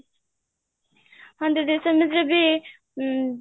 ହଁ ଦିଦି ଡେମିତି ଯଦି ଅମ୍